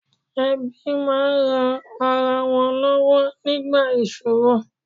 Ẹbí máa ń ran ara wọn lọ́wọ́ nígbà ìṣòro